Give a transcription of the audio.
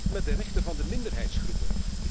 En wat met de rechten van de minderheidsgroepen?